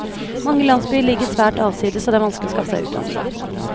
Mange landsbyer ligger svært avsides, og det er vanskelig å skaffe seg utdannelse.